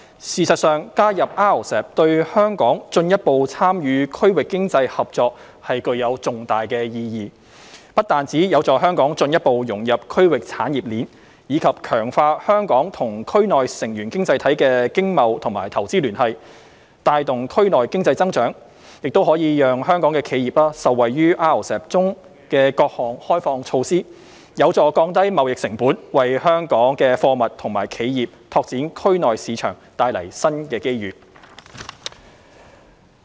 事實上，加入 RCEP 對香港進一步參與區域經濟合作具有重大意義，不但有助香港進一步融入區域產業鏈，以及強化香港與區內成員經濟體的經貿與投資聯繫，帶動區內經濟增長，亦可讓香港企業受惠於 RCEP 中的各項開放措施，有助降低貿易成本，為香港貨物及企業拓展區內市場方面帶來新機遇。